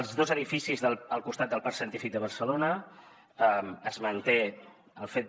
els dos edificis al costat del parc científic de barcelona es manté el fet de